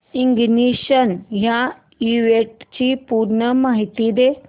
ignition या इव्हेंटची पूर्ण माहिती दे